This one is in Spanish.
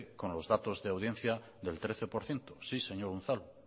con los datos de audiencia del trece por ciento sí señor unzalu